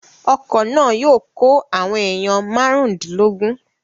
Ọkọ̀ náà yóò kó àwọn èèyàn márùndínlógún